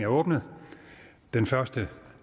åbnet den første